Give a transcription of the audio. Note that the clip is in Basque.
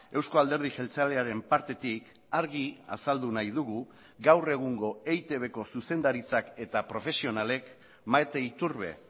eusko alderdi jeltzalearen partetik argi azaldu nahi dugu gaur egungo eitbko zuzendaritzak eta profesionalek maite iturbe